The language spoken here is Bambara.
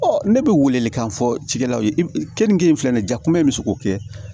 ne bɛ welekan fɔ cikɛlaw ye kenige in filɛ nin ye ja kunbɛ in bɛ se k'o kɛ